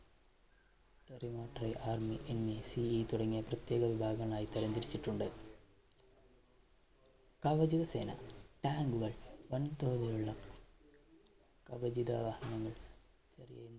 Territorial Army എന്നീ CE തുടങ്ങിയ പ്രത്യേക വിഭാഗങ്ങളായി തരം തിരിച്ചിട്ടുണ്ട്. കവചിത സേന tank കൾ വൻതോതിൽ ഉള്ള കവചിത വാഹനങ്ങൾ